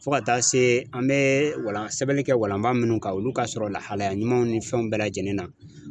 Fo ka taa se an bɛ walan sɛbɛnni kɛ walanba minnu kan olu ka sɔrɔ lahalaya ɲumanw ni fɛnw bɛɛ lajɛlen na